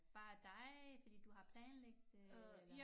Bare dig fordi du har planlagt det eller